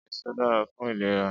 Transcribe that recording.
Ésó dàrá fún ilérà